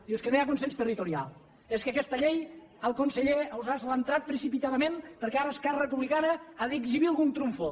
diu és que no hi ha consens territorial és que aquesta llei el conseller ausàs l’ha entrat precipitadament perquè ara esquerra republicana ha d’exhibir algun trumfo